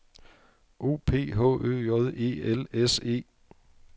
O P H Ø J E L S E